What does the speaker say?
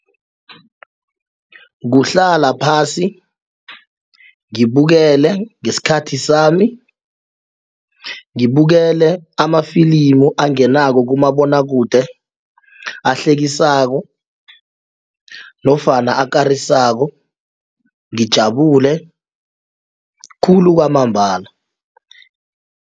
Kuhlala phasi ngibukele ngesikhathi sami ngibukele amafilimu angenako kumabonwakude ahlekisako nofana akarisako ngijabule khulu kwamambala.